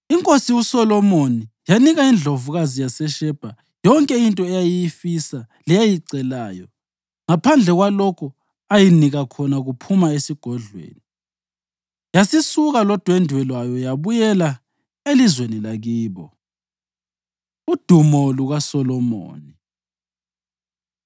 INkosi uSolomoni yanika indlovukazi yaseShebha yonke into eyayiyifisa leyayicelayo, ngaphandle kwalokho ayinika khona kuphuma esigodlweni. Yasisuka lodwendwe lwayo yabuyela elizweni lakibo. Udumo LukaSolomoni